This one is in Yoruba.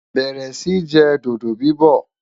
bẹrẹ Si jẹ dodo bibọ